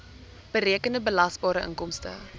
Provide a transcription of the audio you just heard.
berekende belasbare inkomste